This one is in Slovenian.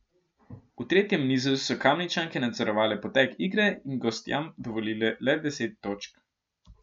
V tretjem nizu so Kamničanke nadzorovale potek igre in gostjam dovolile le deset točk.